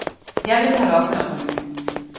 Jeg ville holde op med at ryge.